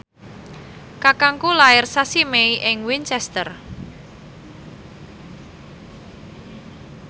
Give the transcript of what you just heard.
kakangku lair sasi Mei ing Winchester